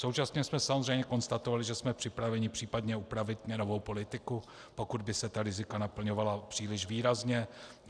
Současně jsme samozřejmě konstatovali, že jsme připraveni případně upravit měnovou politiku, pokud by se ta rizika naplňovala příliš výrazně.